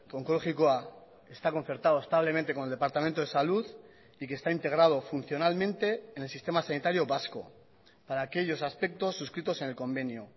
onkologikoa está concertado establemente con el departamento de salud y que está integrado funcionalmente en el sistema sanitario vasco para aquellos aspectos suscritos en el convenio